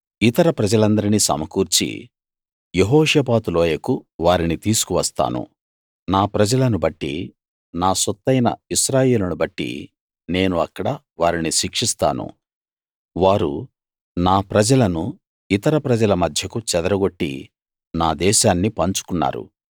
ఇతర ప్రజలందరినీ సమకూర్చి యెహోషాపాతు లోయకు వారిని తీసుకువస్తాను నా ప్రజలను బట్టి నా సొత్తయిన ఇశ్రాయేలును బట్టి నేను అక్కడ వారిని శిక్షిస్తాను వారు నా ప్రజలను ఇతర ప్రజల మధ్యకు చెదరగొట్టి నా దేశాన్ని పంచుకున్నారు